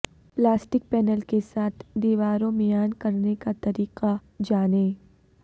plastic panel کے ساتھ دیواروں میان کرنے کا طریقہ جانیں